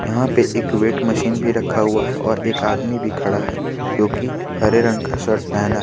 यहां पे एक वेट मशीन भी रखा हुआ है और एक आदमी भी खड़ा है जो कि हरे रंग का शर्ट पहना--